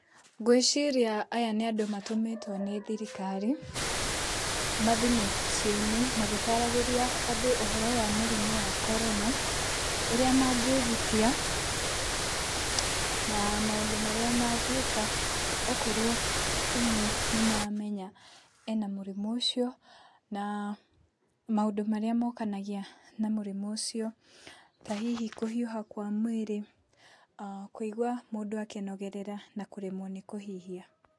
Ngwĩciria aya nĩ andũ matũmĩtwo nĩ thirikari , mathiĩ mĩciĩ-in magĩtaragĩria ũhoro wa mũrimũ a corona , ũrĩa mangĩgitia na maũndũ marĩa mangĩĩka , okorwo ũmwe nĩ mamenya ena mũrimũ ũcio na maũndũ marĩa mokanagia na mũrimũ ũcio, ta hihi kũhiũha kwa mwĩrĩ a kũigwa mũndũ akĩnogerera na kũremwo nĩ kũhihia.